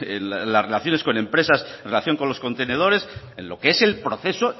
en las relaciones con empresas en relación con los contenedores en lo que es el proceso